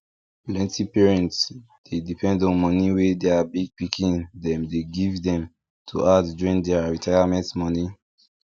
plenty parents dey depend on money wey their big pikin dem dey give dem to add join their retirement money